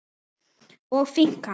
og finkan?